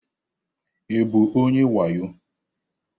Ị bụ onye wayo?